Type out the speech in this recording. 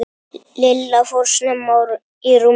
Lilla fór snemma í rúmið.